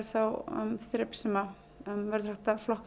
þá þrep sem